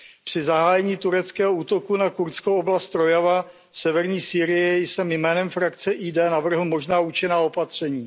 Při zahájení tureckého útoku na kurdskou oblast Rojava v severní Sýrii jsem jménem frakce ID navrhl možná účinná opatření.